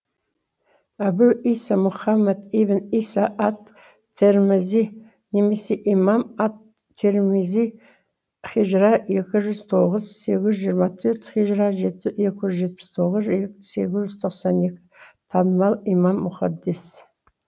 әбу иса мұхаммад ибн иса ат тирмизи немесе имам ат тирмизи һижра екі жүз тоғыз сегіз жүз жиырма төрт һижра екі жүз жетпіс тоғыз сегіз жүз тоқсан екі танымал имам мухаддис